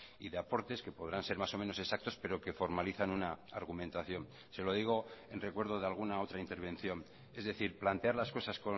y de aportes que podrán ser más o menos exactos pero que formalizan una argumentación se lo digo en recuerdo de alguna otra intervención es decir plantear las cosas